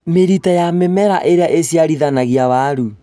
mĩrita ya mĩmera ĩrĩa ĩciarithanagia werũ